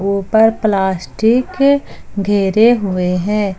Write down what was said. ऊपर प्लास्टिक घिरे हुए हैं।